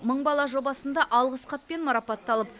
мың бала жобасында алғыс хатпен марапатталып